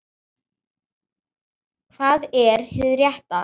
Hvað er hið rétta?